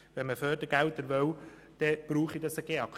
Denn wenn man Fördergelder bekommen wolle, brauche es diesen GEAK.